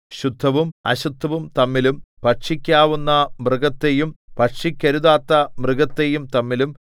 ശുദ്ധവും അശുദ്ധവും തമ്മിലും ഭക്ഷിക്കാവുന്ന മൃഗത്തെയും ഭക്ഷിക്കരുതാത്ത മൃഗത്തെയും തമ്മിലും